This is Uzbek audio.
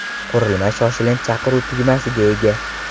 Qurilma shoshilinch chaqiruv tugmasiga ega.